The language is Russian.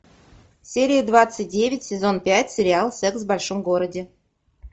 серия двадцать девять сезон пять сериал секс в большом городе